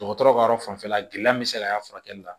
Dɔgɔtɔrɔ ka yɔrɔ fanfɛla gɛlɛya bɛ se ka y'a furakɛli la